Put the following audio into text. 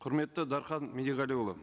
құрметті дархан медиғалиұлы